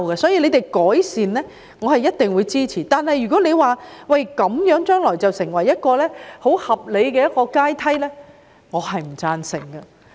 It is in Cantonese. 所以，任何改善建議我一定支持，但如果將來把"劏房"作為合理的房屋階梯，我不會贊成。